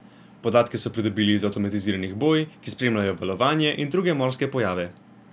Podatke so pridobili iz avtomatiziranih boj, ki spremljajo valovanje in druge morske pojave.